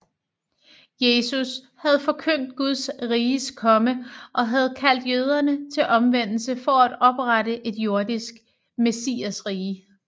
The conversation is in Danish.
Jesus havde forkyndt Guds riges komme og havde kaldt jøderne til omvendelse for at oprette et jordisk messiasrige